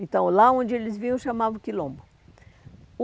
Então, lá onde eles vinham, chamavam quilombo. O